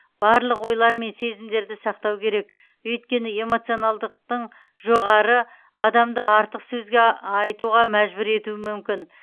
барлық ойлар мен сезімдерді сақтау керек өйткені эмоционалдықтың жоғары адамды артық сөз айтуға мәжбүр етуі мүмкін